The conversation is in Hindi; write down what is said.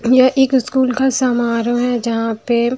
यह एक स्कूल का समारोह है जहां पे--